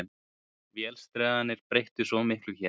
Vélsleðarnir breyttu svo miklu hér.